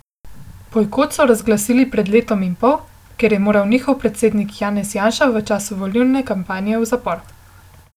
Bojkot so razglasili pred letom in pol, ker je moral njihov predsednik Janez Janša v času volilne kampanje v zapor.